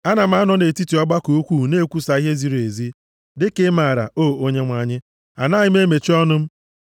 Ana m anọ nʼetiti ọgbakọ ukwuu na-ekwusa ihe ziri ezi; dịka ị maara, o Onyenwe anyị, anaghị m emechi ọnụ m.